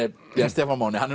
Stefán Máni hann